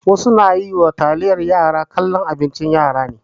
Wasu na yi ma taliyar yara kallon abincin yara ne.